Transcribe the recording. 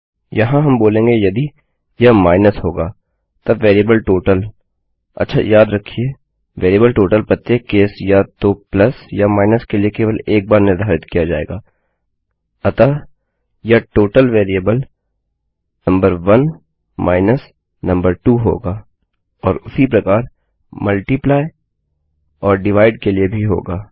यहाँ हम बोलेंगे यदि यह minusमाइनसहोगा तब वेरिएबल टोटल अच्छा याद रखिये वेरिएबल टोटल प्रत्येक केस या तो प्लस या माइनस के लिए केवल एक बार निर्धारित किया जाएगा अतः यह टोटल वेरिएबल नंबर1 नंबर2 होगा और उसी प्रकार गुणा और भाग के लिए भी होगा